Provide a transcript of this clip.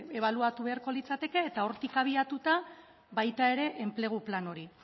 ebaluatu beharko litzateke eta hortik abiatuta baita ere enplegu plan hori